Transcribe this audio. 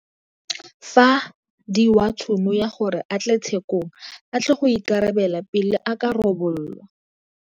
fa diwa tšhono ya gore a tle tshe kong a tle go ikarabela pele e ka rebolwa.